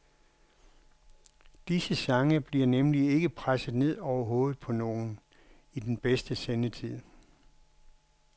Disse sange bliver nemlig ikke presset ned over hovedet på nogen i den bedste sendetid.